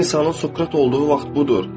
Bir insanın Sokrat olduğu vaxt budur.